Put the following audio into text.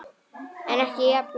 En ekki jafn löng.